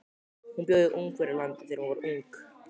Hún bjó í Ungverjalandi þegar hún var ung.